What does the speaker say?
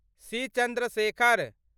C. Chandrashekhar